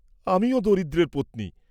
আমিও দরিদ্রের পত্নী।